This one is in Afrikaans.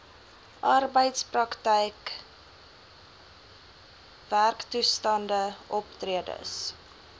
arbeidsprakryk werktoestande optredes